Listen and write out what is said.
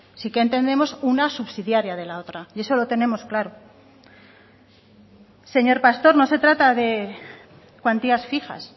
sí que entendemos una subsidiaria de la otra y eso lo tenemos claro señor pastor no se trata de cuantías fijas